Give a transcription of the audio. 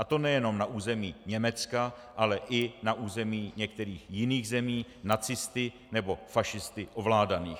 A to nejenom na území Německa, ale i na území některých jiných zemí nacisty nebo fašisty ovládaných.